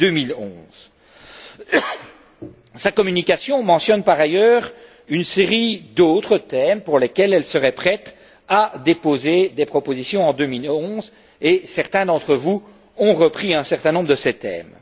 2011. Sa communication mentionne en outre une série d'autres thèmes pour lesquels elle serait prête à déposer des propositions en 2011 et certains d'entre vous ont repris un certain nombre de ces thèmes.